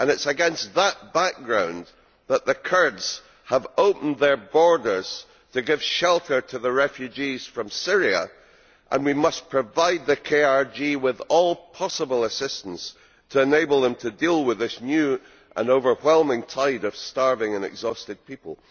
It is against that background that the Kurds have opened their borders to give shelter to the refugees from Syria, and we must provide the KRG with all possible assistance to enable them to deal with this new and overwhelming tide of starving and exhausted people.